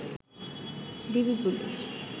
DB police